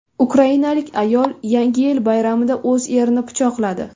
Ukrainalik ayol Yangi yil bayramida o‘z erini pichoqladi.